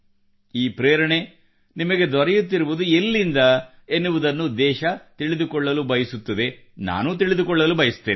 ಈ ಪ್ರೇರಣೆ ನಿಮಗೆ ದೊರೆಯುತ್ತಿರುವುದು ಎಲ್ಲಿಂದ ಎನ್ನುವುದನ್ನು ದೇಶ ತಿಳಿದುಕೊಳ್ಳಲು ಬಯಸುತ್ತದೆ ನಾನು ತಿಳಿದುಕೊಳ್ಳಲು ಬಯಸುತ್ತೇನೆ